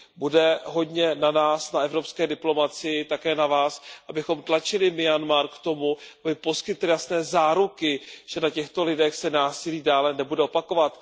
Bude hodně na nás, na evropské diplomacii, také na Vás, abychom tlačili Myanmar k tomu, aby poskytl jasné záruky, že na těchto lidech se násilí dále nebude opakovat.